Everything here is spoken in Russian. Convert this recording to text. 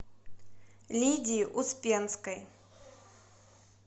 лидии успенской